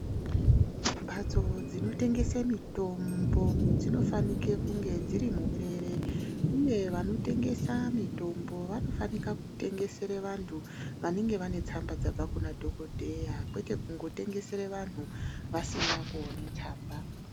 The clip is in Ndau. Mhatso dzinotengese mitombo dzinofanike kunge dziri muberere, uye vanotengese mitombo vanofanika kutengesere vantu vanenge vane tsamba dzabva kuna dhokodheya kwete kungotengesera vanhu vasina kuone tsamba.